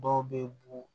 Dɔw bɛ bo